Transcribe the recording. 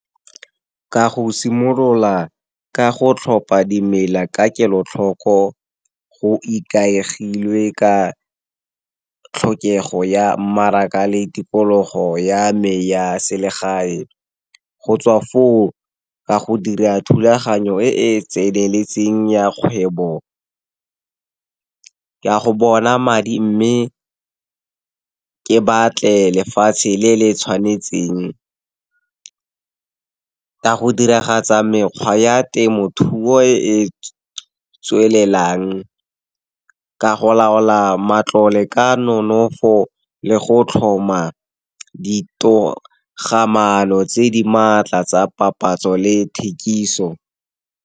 Ka go simolola ka go tlhopha dimela ka kelotlhoko, go ikaegile ka tlhokego ya mmaraka le tikologo ya me, ya selegae. Go tswa foo, ka go dira thulaganyo e e tseneletseng ya kgwebo, ka go bona madi mme, ke batle lefatshe le le tshwanetseng. Ka go diragatsa mekgwa ya temothuo e e tswelelang, ka go laola matlole ka nonofo le go tlhoma ditogamaano tse di maatla tsa papatso le thekiso.